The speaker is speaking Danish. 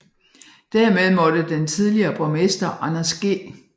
Dermed måtte den tidligere borgmester Anders G